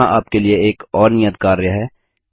यहाँ आपके लिए एक और नियत कार्य है